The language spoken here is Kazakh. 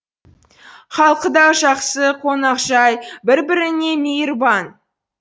халқы да жақсы қонақжай бір біріне мейірбан